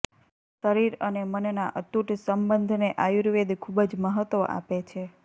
શરીર અને મનના અતૂટ સંબંધને આયુર્વેદ ખૂબ જ મહત્ત્વ આપે છે